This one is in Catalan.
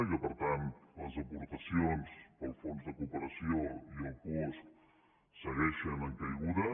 i per tant les aportacions per al fons de cooperació i el puosc segueixen en caiguda